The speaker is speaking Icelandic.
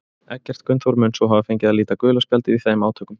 Eggert Gunnþór mun svo hafa fengið að líta gula spjaldið í þeim átökum.